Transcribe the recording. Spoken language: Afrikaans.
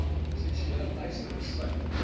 seksuele teistering sluit